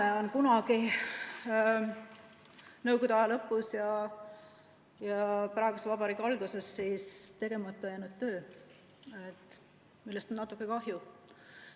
See on kunagi nõukogude aja lõpus ja praeguse vabariigi alguses tegemata jäänud töö ja sellest on natuke kahju.